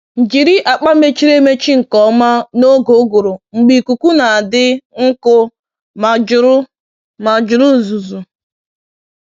Jiri akpa mechiri emechi nke ọma n’oge uguru mgbe ikuku na-adị nkụ ma juru ma juru uzuzu